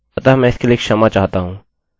अतः मैं इसके लिए क्षमा चाहता हूँ